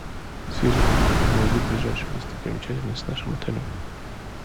сири найди ближайшую достопримечательность с нашим отелем